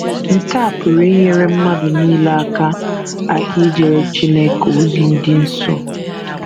Nke a pụrụ inyere mmadụ nile aka aka ijere Chineke ozi dị nsọ.